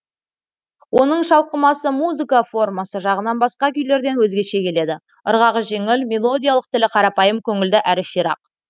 оның шалқымасы музыка формасы жағынан басқа күйлерден өзгеше келеді ырғағы жеңіл мелодиялық тілі қарапайым көңілді әрі ширақ